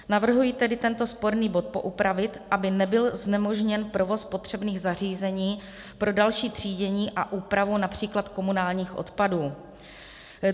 Navrhuji tedy tento sporný bod poupravit, aby nebyl znemožněn provoz potřebných zařízení pro další třídění a úpravu například komunálních odpadů.